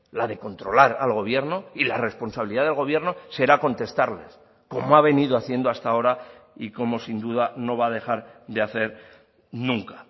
la de controlar al gobierno y la responsabilidad del gobierno será contestarles como ha venido haciendo hasta ahora y como sin duda no va a dejar de hacer nunca